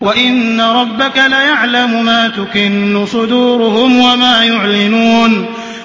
وَإِنَّ رَبَّكَ لَيَعْلَمُ مَا تُكِنُّ صُدُورُهُمْ وَمَا يُعْلِنُونَ